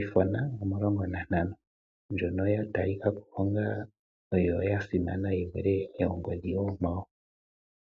iPhone omulongo na ntano ndjono ya talikako ongo oyo yasimana yivule ongodhi oonkwawo.